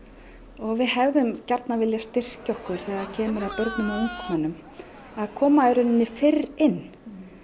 og við hefðum gjarnan vilja styrkja okkur þegar að kemur að börnum og ungmennum að koma fyrr inn